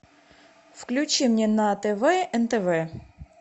включи мне на тв нтв